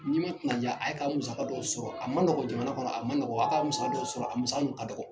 N'i ma kunman ja a ye ka musaka dɔw sɔrɔ a ma nɔgɔ jamana kɔnɔ a ma nɔgɔ, a ye ka musaka dɔ sɔrɔ a musaka ka dɔgɔ.